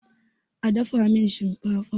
a dafa min shinkafa!